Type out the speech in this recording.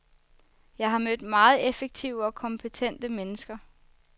Jeg har mødt meget effektive og kompetente mennesker.